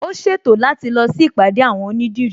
Ó ṣètò láti lọ sí ìpàdé àwon onídìrí